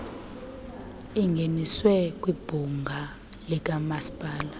ingeniswe kwibhunga likamasipala